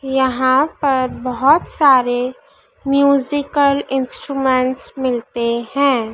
यहां पर बहोत सारे म्यूजिकल इंस्ट्रूमेंट मिलते हैं।